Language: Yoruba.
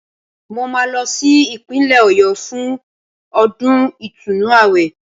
Mo máa lọ sí Ìpínlẹ̀ Ọ̀yọ́ fún ọdún ìtúnu àwẹ̀